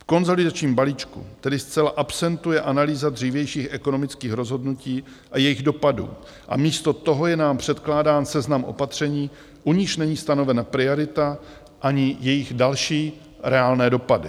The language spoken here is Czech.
V konsolidačním balíčku tedy zcela absentuje analýza dřívějších ekonomických rozhodnutí a jejich dopadů a místo toho je nám předkládám seznam opatření, u nichž není stanovena priorita ani jejich další reálné dopady.